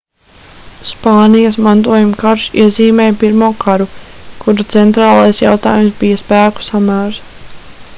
spānijas mantojuma karš iezīmēja pirmo karu kura centrālais jautājums bija spēku samērs